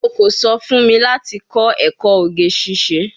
O ko so fun mi lati ko eko oge sise